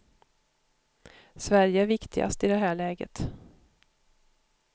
Sverige är viktigast i det här läget.